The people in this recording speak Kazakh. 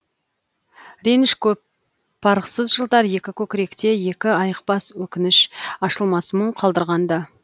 реніші көп парықсыз жылдар екі көкіректе екі айықпас өкініш ашылмас мұң қалдырған ды